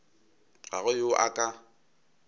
ga go yo a ka